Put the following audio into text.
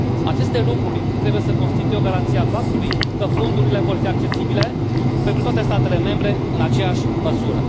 Aceste lucruri trebuie să constituie o garanție a faptului că fondurile vor fi accesibile pentru toate statele membre în aceeași măsură.